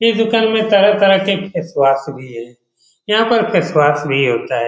ये दुकान में तरह-तरह के फेस वाश भी है यहाँ पर फेस वाश भी होता है।